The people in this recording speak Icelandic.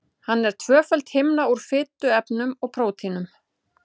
Hann er tvöföld himna úr fituefnum og prótínum.